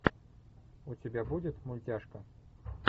у тебя будет мультяшка